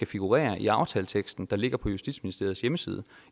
figurere i aftaleteksten der ligger på justitsministeriets hjemmeside